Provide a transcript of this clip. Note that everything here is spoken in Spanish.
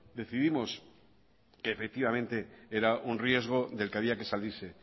decidimos que efectivamente era un riesgo del que había que salirse